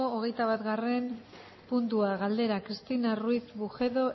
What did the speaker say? hogeita batgarren puntua galdera cristina ruiz bujedo